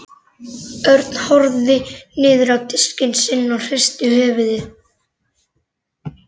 Örn horfði niður á diskinn sinn og hristi höfuðið.